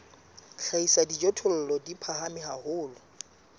hlahisa dijothollo di phahame haholo